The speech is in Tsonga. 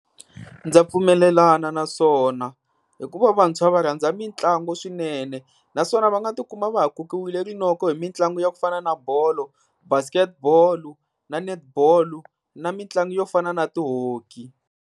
Ndza pfumelelana na swona hikuva vantshwa va rhandza mitlangu swinene. Naswona va nga tikuma va ha kokiwile rinoko hi mitlangu ya ku fana na bolo, Basketball na Netball na mitlangu yo fana na ti-Hockey.